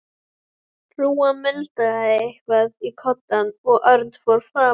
Hrúgan muldraði eitthvað í koddann og Örn fór fram.